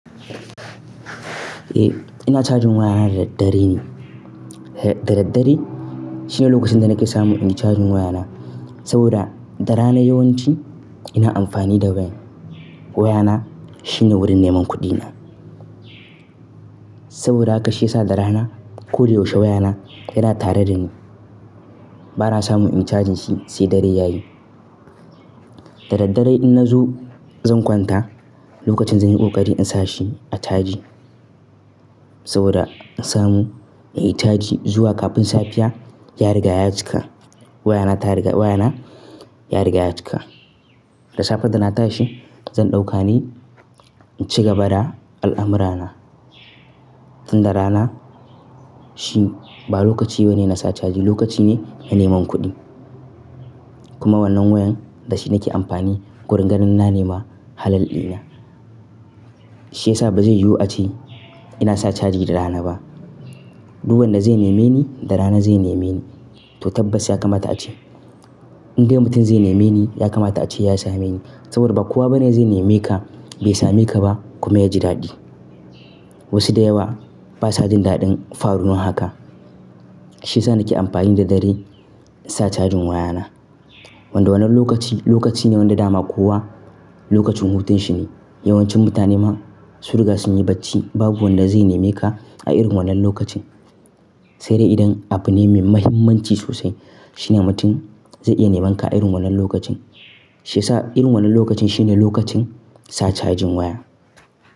Eh, ina cajin wayana dare-dare ne. Da dare-dare shine lokacin da nake samu in cajin wayana. Saboda da rana yawanci ina amfani da wayar. Waya na shine wurin neman kuɗi na. Saboda haka shi yasa da rana ko da yaushe waya na yana tare dani. Bana samu in cajin shi sai dare yayi. Da dare-dare idan na zo zan kwanta lokacin zan yi ƙoƙari in sa shi a caji. Saboda in samu in yi caji zuwa kafin safiya ya riga ya cika. Waya na ya riga ya cika. Da safe da na tashi zan ɗauka ne in ci gaba da al'amurana. Tun da rana shi ba lokaci bane na sa caji lokaci ne na neman kuɗi. Kuma wannan wayan da shi nake amfani wurin ganin na nema halal ɗina. Shi yasa ba zai yiwu ace ina sa caji da rana ba. Duk wanda zai neme ni da rana zai neme ni to tabbas ya kamata ace. Indai mutum zai neme ni ya kamata ace ya same ni. Saboda ba kowa bane zai neme ka bai same ka ba kuma ya ji daɗi. Wasu da yawa basa jin daɗin faruwan haka. Shi yasa nake amfani da dare in sa cajin waya na. Wanda wannan lokaci lokaci ne wanda dama kowa lokacin hutun shi ne. Yawancin mutane ma sun riga sun yi bacci babu wanda zai neme ka a irin wannan lokacin. Sai dai idan abu ne mai muhimmanci sosai shine mutum zai iya neman ka a irin wannan lokacin. Shi yasa irin wannan lokacin shine lokacin sa cajin waya.